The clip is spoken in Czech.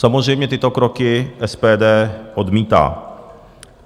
Samozřejmě tyto kroky SPD odmítá.